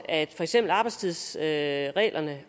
at for eksempel arbejdstidsreglerne